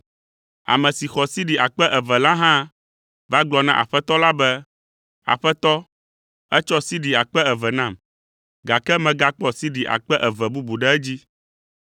“Ame si xɔ sidi akpe eve la hã va gblɔ na Aƒetɔ la be, ‘Aƒetɔ, ètsɔ sidi akpe eve nam, gake megakpɔ sidi akpe eve bubu ɖe edzi.’